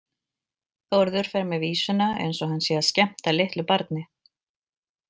Þórður fer með vísuna eins og hann sé að skemmta litlu barni.